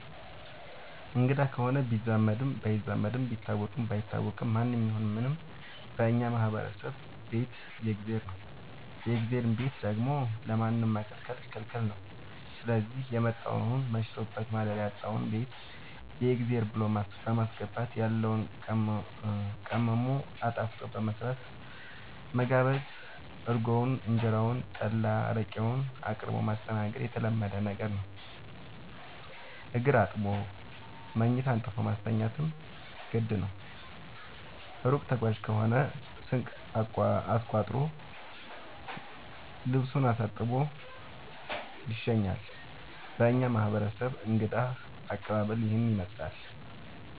አንግዳ ከሆነ ቢዛመድም ባይዛመድም ቢታወቅም ባይታወቅም ማንም ይሁን ምንም በእኛ ማህበረሰብ ቤት የእግዜር ነው። የእግዜርን ቤት ደግሞ ለማንም መከልከል ክልክል ነው ስዚህ የመጣውን መሽቶበት ማደሪያ ያጣውን ቤት የእግዜር ብሎ በማስገባት ያለውን ቀምሞ አጣፍጦ በመስራት መጋበዝ እርጎውን እንጀራውን ጠላ አረቄውን አቅርቦ ማስተናገድ የተለመደ ነገር ነው። እግር አጥቦ መኝታ አንጥፎ ማስተኛትም ግድ ነው። እሩቅ ተጓዥ ከሆነ ስንቅ አስቋጥሮ ልሱን አሳጥቦ ይሸኛል። በእኛ ማህረሰብ እንግዳ አቀባሀል ይህንን ይመስላል።